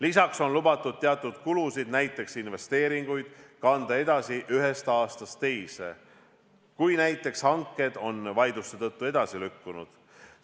Lisaks on lubatud teatud kulusid, näiteks investeeringuid, kanda edasi ühest aastast teise, kui näiteks hanked on vaidluste tõttu edasi lükkunud.